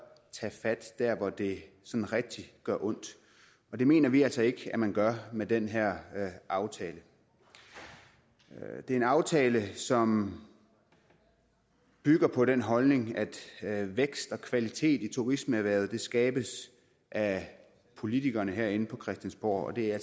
tage fat der hvor det sådan rigtig gør ondt og det mener vi altså ikke at man gør med den her aftale det er en aftale som bygger på den holdning at vækst og kvalitet i turismeerhvervet skabes af politikerne herinde på christiansborg og det er